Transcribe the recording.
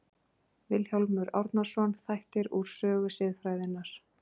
Vilhjálmur Árnason, Þættir úr sögu siðfræðinnar.